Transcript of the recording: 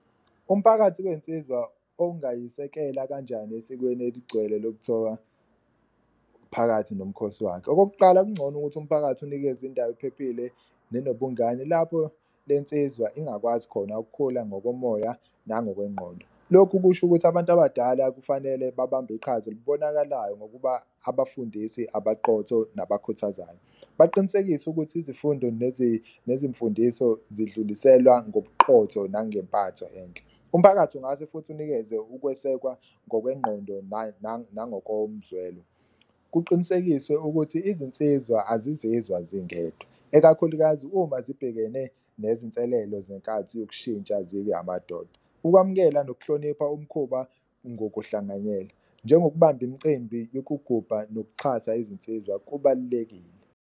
Umphakathi kensizwa ongayisekela kanjani esikweni eligcwele lokuthoka phakathi nomkhosi wakhe. Okokuqala, kuncono ukuthi umphakathi unikeze indawo ephephile nobungane lapho le nsizwa ingakwazi khona ukukhula ngokomoya nangokwengqondo. Lokhu kusho ukuthi abantu abadala kufanele babambe iqhaza elibonakalayo ngokuba abafundisi abaqotho nabakhuthazayo, baqinisekise ukuthi izifundo nezimfundiso zidluliselwa ngobuqotho nangempatho enhle. Umphakathi ungase futhi unikeze ukwesekwa ngokwengqondo nangokomzwelo, kuqinisekiswe ukuthi izinsizwa azizizwa zingedwa, ekakhulukazi uma zibhekene nezinselelo zenkathi yokushintsha zibe amadoda. Ukwamukela nokuhlonipha umkhuba ngokuhlanganyela njengokubamba imicimbi yokugubha nokuxhasa izinsizwa kubalulekile.